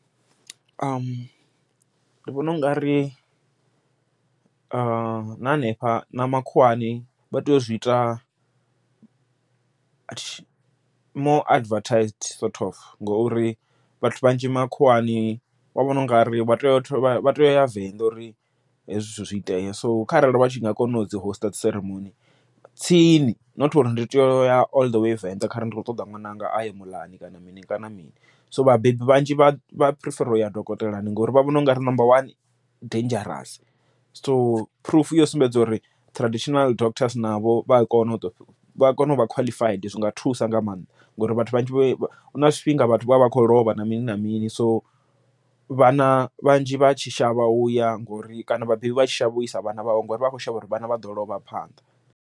Ndi vhona u nga ri na hanefha na makhuwani vha tea u zwi ita more advertised sort of, ngori vhathu vhanzhi makhuwani vha vhona u nga ri vha tea u vha tea uya Venḓa uri hezwi zwithu zwi itee, so kharali vha tshi nga kona u dzi host dzi ceremony tsini, not uri ndi tea u ya all the way Venḓa kharali ndi khou ṱoḓa ṅwananga aye muḽani kana mini kana mini. So vhabebi vhanzhi vha prefer uya dokotelani ngori vha vhona u nga ri number one dangerous, so phurufu yo sumbedza uri traditional doctors navho vha a kona u vha kona uvha khwaḽifaidi zwi nga thusa nga maanḓa, ngori vhathu vhanzhi huna zwifhinga vhathu vha vha kho lovha na mini na mini, so vhana vhanzhi vha tshi shavha u ya ngori kana vhabebi vha tshi shavha uisa vhana vhavho ngori vha kho shavha uri vhana vha ḓo lovha phanḓa.